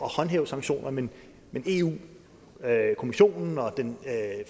håndhæve sanktionerne men eu kommissionen og den